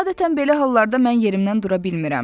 Adətən belə hallarda mən yerimdən dura bilmirəm.